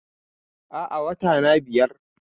Aa, Watana biyar